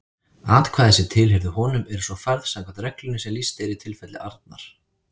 Atkvæði sem tilheyrðu honum eru svo færð samkvæmt reglunni sem lýst er í tilfelli Arnar.